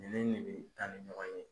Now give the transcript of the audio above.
Nin ni nin bɛ taa ni ɲɔgɔn ye.